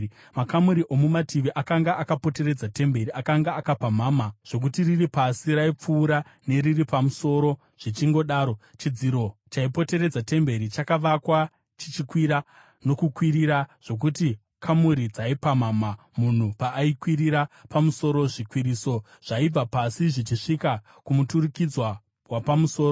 Makamuri omumativi akanga akapoteredza temberi akanga akapamhama zvokuti riri pasi raipfuurwa neriri pamusoro zvichingodaro. Chidziro chaipoteredza temberi chakavakwa chichikwira nokukwirira, zvokuti kamuri dzaipamhamha munhu paakwirira kumusoro. Zvikwiriso zvaibva pasi zvichisvika kumuturikidzwa wapamusoro.